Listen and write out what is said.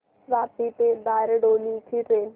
वापी ते बारडोली ची ट्रेन